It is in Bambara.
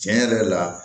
Tiɲɛ yɛrɛ la